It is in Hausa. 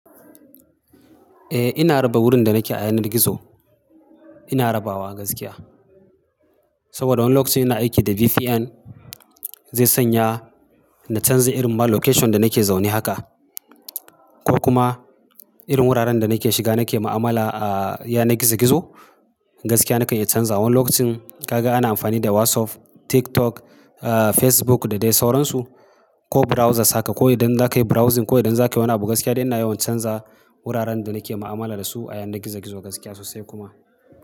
Eh ina raba wurin da nake a yanar gizo. Ina rabawa gaskiya saboda wani lokacin ina aiki da VPN zai sanya na canza irin location da nake zaune haka ko kuma irin wuraren da nake shiga nake ma'amala a yanar gizo gizo gaskiya nakan iya canza. Wani lokacin ka ga ana amfani da WhatsApp, TikTok, ah Facebook da dai sauransu ko browsers haka ko idan zakayi browsing ko idan zakayi wani abu gaskiya ina yawan canza wuraren da nake ma'amala dasu a yanar gizo gizo gaskiya sosai kuma.